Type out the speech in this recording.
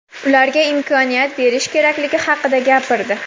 ularga imkoniyat berish kerakligi haqida gapirdi.